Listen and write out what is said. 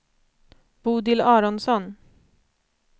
Bodil Aronsson